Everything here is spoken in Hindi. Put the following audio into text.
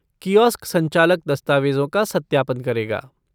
कियोस्क संचालक दस्तावेजों का सत्यापन करेगा।